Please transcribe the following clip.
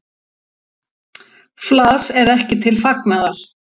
Flas er ekki til fagnaðar.